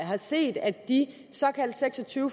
har set at de seks og tyve